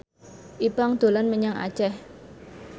Ipank dolan menyang Aceh